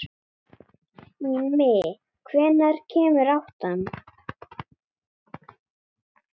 Ími, hvenær kemur áttan?